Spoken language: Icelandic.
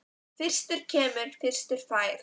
Fyrstur kemur, fyrstur fær.